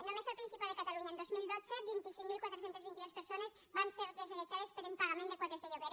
només al principat de catalunya en dos mil dotze vint cinc mil quatre cents i vint dos persones van ser desallotjades per impagament de quotes de lloguer